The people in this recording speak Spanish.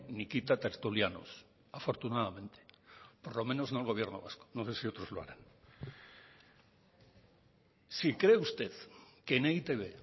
ni quita tertulianos afortunadamente por lo menos no el gobierno vasco no sé si otros lo harán si cree usted que en e i te be